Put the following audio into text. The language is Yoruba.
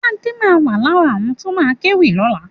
Adé ma wà lára àwọn tó ma kéwì lọ́la